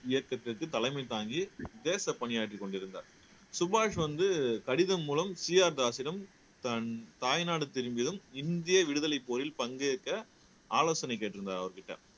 இயக்கத்திற்கு தலைமை தாங்கி தேச பணியாற்றிக் கொண்டிருந்தார் சுபாஷ் வந்து கடிதம் மூலம் சீ ஆர் தாஸிடம் தன் தாய்நாடு திரும்பியதும் இந்திய விடுதலைப் போரில் பங்கேற்க ஆலோசனை கேட்டிருந்தார் அவர்கிட்ட